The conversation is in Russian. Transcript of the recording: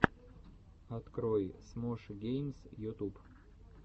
открой смош геймс ютуб